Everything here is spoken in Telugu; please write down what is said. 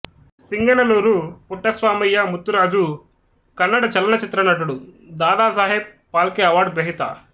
సింగనల్లూరు పుట్టస్వామయ్య ముత్తురాజు కన్నడ చలనచిత్ర నటుడు దాదాసాహెబ్ ఫాల్కే అవార్డు గ్రహీత